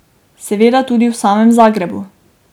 Seveda tudi v samem Zagrebu.